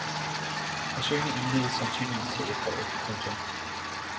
Forsøgene indledes sandsynligvis til efteråret. punktum